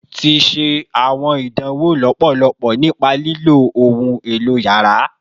Ti ṣe awọn idanwo lọpọlọpọ nipa lilo ohun elo yàrá